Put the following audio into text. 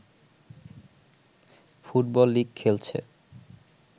football league খেলছে